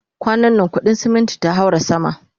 kwanan na kudin ceminti ta haura sama